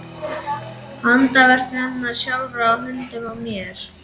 Handaverk hennar sjálfrar á höndunum á mér!